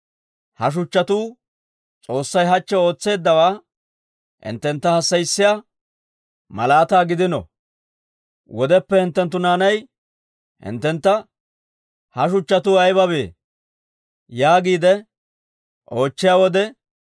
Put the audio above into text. Ha shuchchatuu S'oossay hachche ootseeddawaa hinttentta hassayissiyaa malaataa gidino. Wodeppe hinttenttu naanay hinttentta, ‹Ha shuchchatuu ayibabee?› yaagiide oochchiyaa wode,